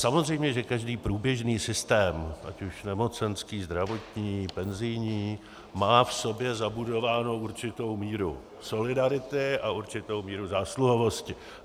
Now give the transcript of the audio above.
Samozřejmě že každý průběžný systém, ať už nemocenský, zdravotní, penzijní, má v sobě zabudovánu určitou míru solidarity a určitou míru zásluhovosti.